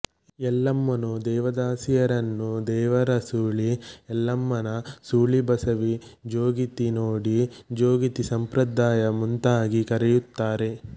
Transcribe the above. ಎಲ್ಲಮ್ಮನು ದೇವದಾಸಿಯರನ್ನುದೇವರ ಸೂಳಿ ಎಲ್ಲಮ್ಮನ ಸೂಳಿ ಬಸವಿ ಜೋಗಿತಿ ನೋಡಿ ಜೋಗಿತಿಸಂಪ್ರದಾಯ ಮುಂತಾಗಿ ಕರೆಯುತ್ತಾರೆ